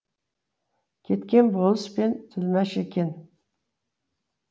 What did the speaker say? кеткен болыс пен тілмәш екен